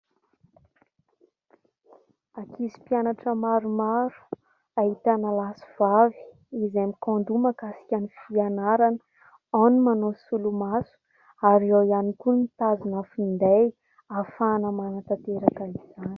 Ankizy mpianatra maromaro, ahitana lahy sy vavy izay mikahon-doha mahakasika ny fianarana. Ao ny manao solomaso ary eo ihany koa ny mitazona finday hahafahana manatanteraka izany.